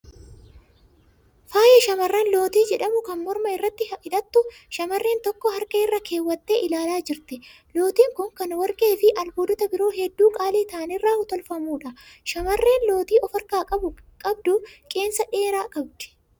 Faaya shamarranii lootii jedhamu kan morma irratti hadhatu shamrreen tokko harka irra keewwattee ilaalaa jirti. Lootiin kun kan warqee fi albuudota biroo hedduu qaalii ta'an irraa tolfamuudha. Shamarreen lootii of harkaa qabu qeensa dheeraa qabdi.